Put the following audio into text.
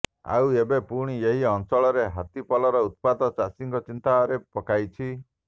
ଆଉ ଏବେ ପୁଣି ଏହି ଅଞ୍ଚଳରେ ହାତୀପଲର ଉତ୍ପାତ ଚାଷୀଙ୍କୁ ଚିନ୍ତାରେ ପକାଇଛି